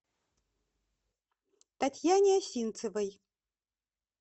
татьяне осинцевой